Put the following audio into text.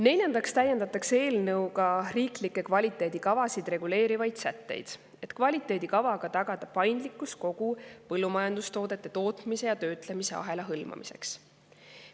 Neljandaks täiendatakse eelnõuga riiklikke kvaliteedikavasid reguleerivaid sätteid, et kvaliteedikavaga tagada paindlikkus kogu põllumajandustoodete tootmise ja töötlemise ahela hõlmamiseks.